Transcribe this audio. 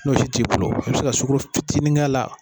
N'o si t'i bolo e be se ka sugaro fitinin k'a la